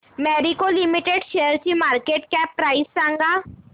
Marico limited शेअरची market cap price सांगा